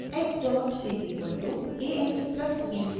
x dot is equal to a x plus b u